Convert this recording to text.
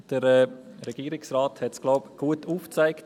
Ich glaube, der Regierungsrat hat es gut aufgezeigt.